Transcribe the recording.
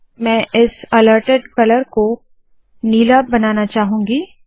मैं इस altered colour को नीला बनाना चाहूंगी